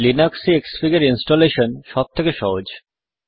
Linux এ ক্সফিগ installation সব থেকে সহজ